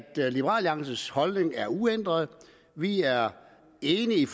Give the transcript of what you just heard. alliances holdning er uændret vi er enige